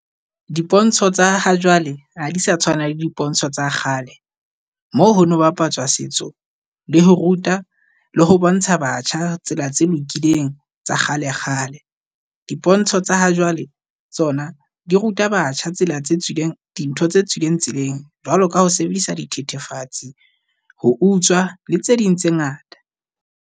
Dipontsho tsa ha jwale ha di sa tshwana le dipontsho tsa kgale moo ho no bapatswa setso le ho ruta le ho bontsha batjha tsela tse lokileng tsa kgale kgale. Dipontsho tsa ha jwale tsona di ruta batjha ysela tse tswileng di ntho tse tswileng tseleng jwalo ka ho sebedisa di thethefatse, ho utswa le tse ding tse ngata.